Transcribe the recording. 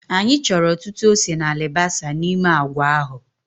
Anyị chọrọ ọtụtụ ose na alibasa n'ime agwa ahụ